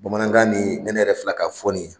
Bamanankan nin ni ne yɛrɛ filɛ ka fɔ nin ye